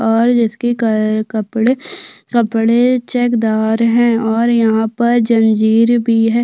और जिसकी का कपड़े कपड़े चेकदार है और यहाँ पर जनजीर भी हैं।